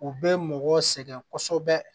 U bɛ mɔgɔ sɛgɛn kosɛbɛ